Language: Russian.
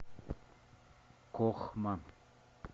кохма